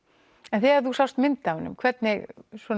en þegar þú sást mynd af honum hvernig